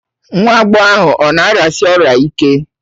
Nwa agbọghọ ahụ ọ̀ na-arịasi ọrịa ike?